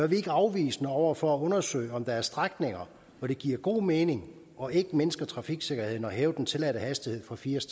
vi ikke afvisende over for at undersøge om der er strækninger hvor det giver god mening og ikke mindsker trafiksikkerheden at hæve den tilladte hastighed fra firs